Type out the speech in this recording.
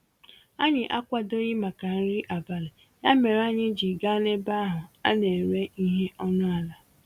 Anyị akwadoghị màkà nri abalị, ya mèrè anyị ji gaa n'ebe ahụ a n'éré ihe ọnụ àlà